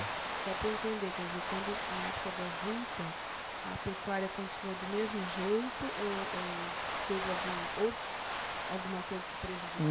Só para eu entender, quer dizer, quando, na época da juta, a pecuária continuou do mesmo jeito ou ou teve algum, ou alguma coisa que prejudi